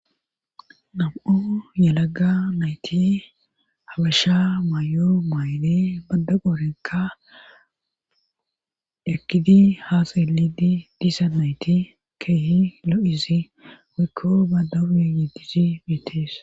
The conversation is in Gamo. Nam7o yelaga nayti habasha maay7o maayle badda qoorenka ekkidi haasa yelidi disa nayti keehi lo7izi waykko badawuru yeddizi bitees..